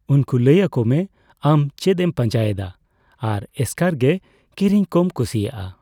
ᱩᱱᱠᱩ ᱞᱟᱹᱭ ᱟᱠᱚᱢᱮ ᱟᱢ ᱪᱮᱫᱼᱮᱢ ᱯᱟᱸᱡᱟᱭᱮᱫᱟ ᱟᱨ ᱮᱥᱠᱟᱨ ᱜᱮ ᱠᱤᱨᱤᱧ ᱠᱚᱢ ᱠᱩᱥᱤᱭᱟᱜᱼᱟ ᱾